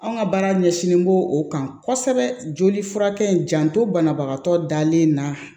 Anw ka baara ɲɛsinnen b'o o kan kosɛbɛ joli furakɛ in janto banabagatɔ dalen na